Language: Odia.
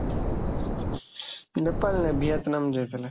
ନେପାଳ ନାହିଁ, ଭିଏତନାମ ଯାଇଥିଲେ।